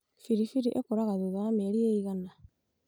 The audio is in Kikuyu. biribiri ĩkũraga thutha wa mĩeri ĩigana?